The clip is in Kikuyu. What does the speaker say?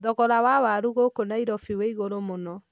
Thogora wa waru gũkũ Nairobi wĩ igũrũ mũno.